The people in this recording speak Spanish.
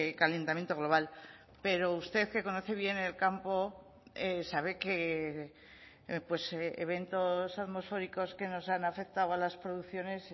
calentamiento global pero usted que conoce bien el campo sabe que eventos atmosféricos que nos han afectado a las producciones